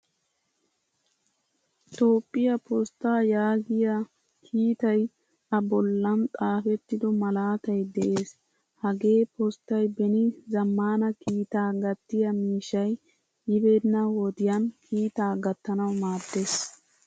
Toophphiyaa postaa yaagiyaa kiitay a bollan xaafettido malaatay de'ees. Hagee postay beni zamaana kiittaa gatiyaa miishshay yibena wodiyan kiitaa gatanawu maadiis.